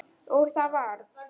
Og það varð.